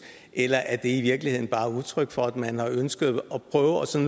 eller er det i virkeligheden bare udtryk for at man ønsker at